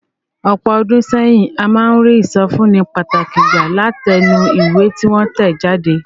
Ọ̀pọ̀ ọdún sẹ́yìn, a máa ń rí ìsọfúnni pàtàkì gbà látinú ìwé tí wọ́n tẹ̀ jáde.